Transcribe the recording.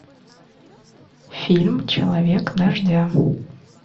фильм человек дождя